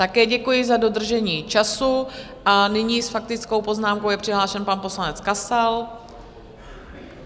Také děkuji za dodržení času a nyní s faktickou poznámkou je přihlášen pan poslanec Kasal.